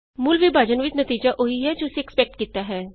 ਮੂਲ ਵਿਭਾਜਨ ਵਿਚ ਨਤੀਜਾ ਉਹ ਹੀ ਹੈ ਜੋ ਅਸੀਂ ਐਕਸਪੈਕਟ ਕੀਤਾ ਹੈ